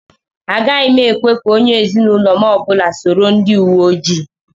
Agaghị ekwe ka onye ezinụlọ m ọbụla soro ndị uwe ojii.